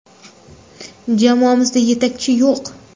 Jamoamizda yetakchi yo‘q.